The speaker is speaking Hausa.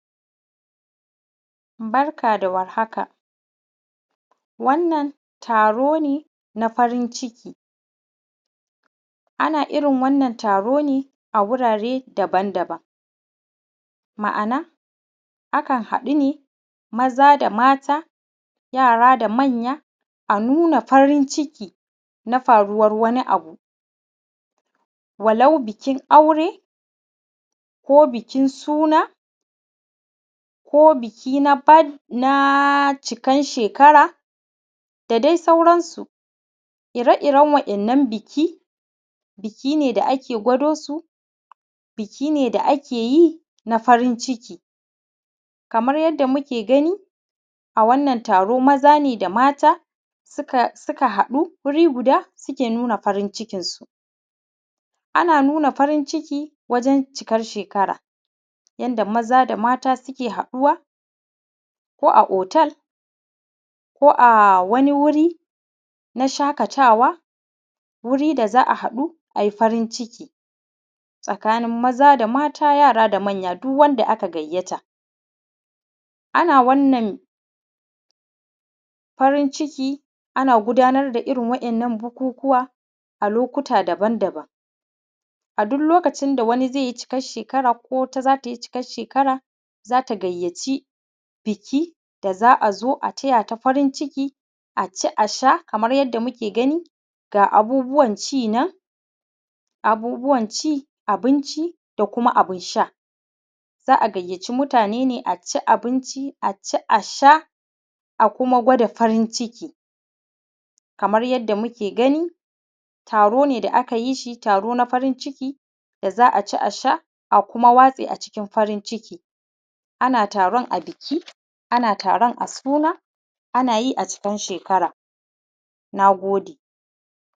Barka da warhaka. Wannan taro ne na farin ciki. Ana irin wannan taro ne a wurare daban daban, ma’ana akan haɗu ne maza da mata, yara da manya, a nuna farin ciki na faruwan wani abu, walau bikin aure, ko bikin suna, ko biki na cikan shekara, da dai sauransu. Ire iren wa’innan biki, biki ne da ake gwado su, biki ne da ake yi na farin ciki kamar yadda muke gani a wannan taro, maza ne da mata suka haɗu wuri guda suke nuna farin cikinsu. Ana nuna farin ciki wajen cikar shekara, yanda maza da mata suke haɗuwa ko a hotel, ko a wani wuri na shaƙatawa, wuri da za a haɗu ai farin ciki tsakanin maza da mata, yara da manya. Duk wanda aka gayyata ana wannan farin ciki. Ana gudanar da irin wa’innan bukukuwa a lokuta daban daban. A duk lokacin da wani zai yi cikan shekara, ko wata za tai cikan shekara, za ta gayyaci biki da za a zo a taya ta farin ciki, a ci a sha kamar yadda muke gani, ga abubuwan ci nan, abubuwan ci abinci, da kuma abun sha. Za a gayyaci mutane ne a ci abinci a ci, a sha a kuma gwada farin ciki. Kamar yadda muke gani taro ne da kayi shi taro na farin ciki da za a ci, a sha a kuma watse a cikin farin ciki. Ana taron a biki, ana taron a suna, ana yi a cikan shekara. Na gode.